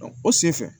o senfɛ